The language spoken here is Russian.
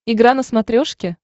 игра на смотрешке